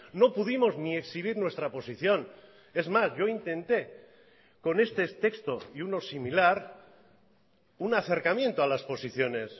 no pudimos ni exhibir nuestra posición es más yo intenté con este texto y uno similar un acercamiento a las posiciones